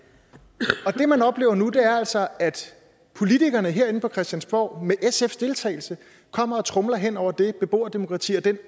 det man oplever nu er altså at politikerne herinde på christiansborg med sfs deltagelse kommer og tromler hen over det beboerdemokrati og den